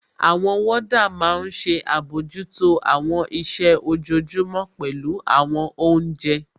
Àwọn wọ́ọ́dà máa n ṣe àbojútó àwọn iṣẹ́ ojojúmọ́, pẹ̀lú àwọn oúnjẹ